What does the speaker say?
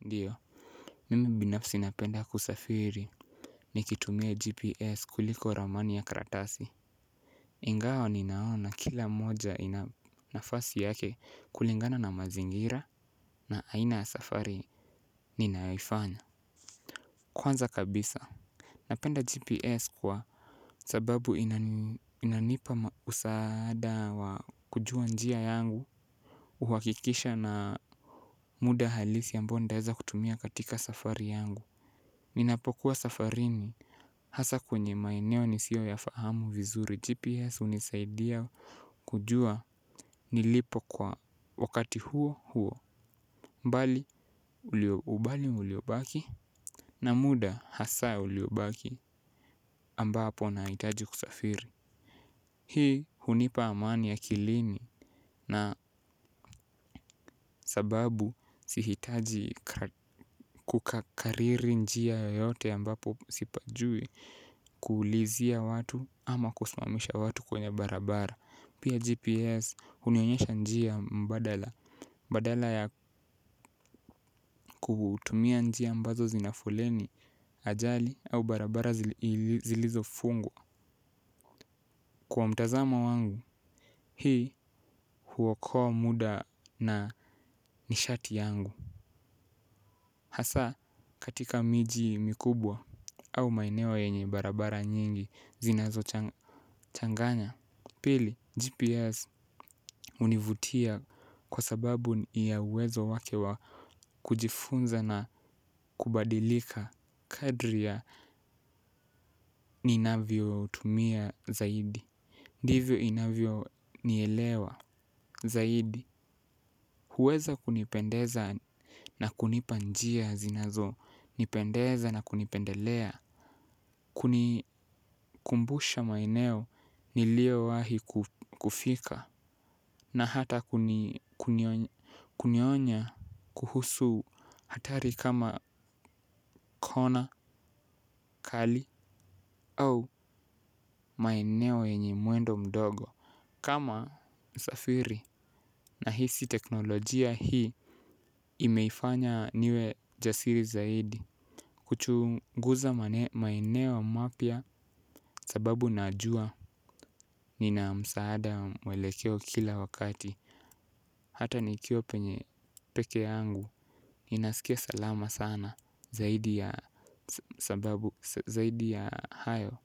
Ndiyo mimi binafsi napenda kusafiri nikitumia GPS kuliko ramani ya karatasi ingawa ninaona kila moja ina nafasi yake kulingana na mazingira na aina ya safari ninayoifanya. Kwanza kabisa Napenda GPS kwa sababu inanipa usaada wa kujua njia yangu uhakikisha na muda halisi ambayo nitaweza kutumia katika safari yangu ninapokuwa safarini hasa kwenye maeneo nisiyo yafahamu vizuri GPS hunisaidia kujua nilipo kwa wakati huo huo bali uliobaki. Na muda hasa ya uliobaki ambapo nahitaji kusafiri hii hunipa amani akilini na sababu sihitaji kukakariri njia yoyote ambapo sipajui kuulizia watu ama kusimamisha watu kwenye barabara. Pia GPS hunionyesha njia mbadala badala ya kutumia njia ambazo zina foleni ajali au barabara zilizofungwa kwa mtazamo wangu hii huokoa muda na nishati yangu. Hasa katika miji mikubwa au maeneo yenye barabara nyingi zinazochanganya. Pili, GPS hunivutia kwa sababu ni ya uwezo wake wa kujifunza na kubadilika kadri ya ninavyo utumia zaidi ndivyo inavyonielewa zaidi. Huweza kunipendeza na kunipa njia zinazonipendeza na kunipendelea kunikumbusha maeneo niliyowahi kufika na hata kunionya kuhusu hatari kama kona kali au maeneo yenye mwendo mdogo. Kama msafiri nahisi teknolojia hii imefanya niwe jasiri zaidi. Kuchunguza maeneo mapya sababu najua nina msaada wa mwelekeo kila wakati. Hata nikiwa penye pekee yangu, ninasikia salama sana zaidi ya hayo